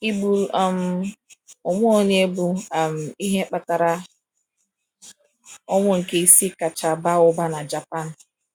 Ịgburu um onwe onye bụ um ihe kpatara ọnwụ nke isii kacha baa ụba na Japan.